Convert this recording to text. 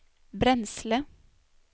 bränsle